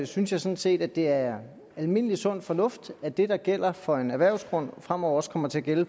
synes jeg sådan set at det er almindelig sund fornuft at det der gælder for en erhvervsgrund fremover også kommer til at gælde